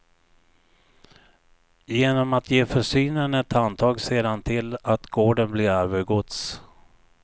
Genom att ge försynen ett handtag ser han till att gården blir arvegods.